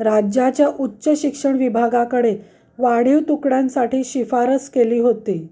राज्याच्या उच्च शिक्षण विभागाकडे वाढीव तुकड्यांसाठी शिफारस केली होती